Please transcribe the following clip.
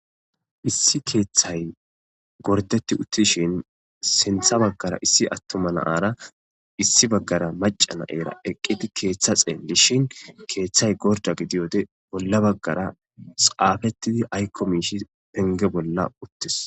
issi keeththay gordeti uttishin sintha baggara issi attoma naara issi baggara maca naera eqqidi keeththa xeelishin keeththay gorda gidiyode bolla baggara saafettidi aykko miishi penge bolla uttes